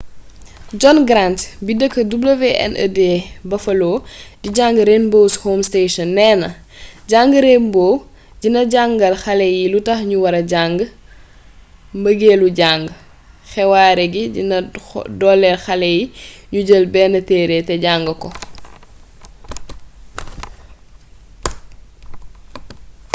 john grant bi deekk wned buffalo di jang rainbow’s home station nee na ‘’jang rainbow dina jangal xalé yi lutax ñu wara jàng, mbëgéelu jàng — [xewaare gi] dina doolél xalé yi ñu jël benn téré té jang ko.